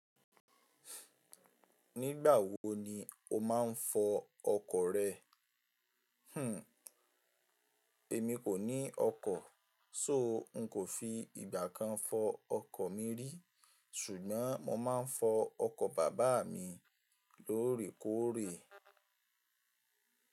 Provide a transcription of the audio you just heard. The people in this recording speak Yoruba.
Nígbà wo ni o máa ń fọ ọkọ̀ rẹ? Hmm, èmi kò ní ọkọ̀, só n kò fi ìgbà kan fọ ọkọ̀ mi rí. Ṣùgbọ́n mo máa ń fọ ọkọ̀ bàbá mi lóòrèkóòrè.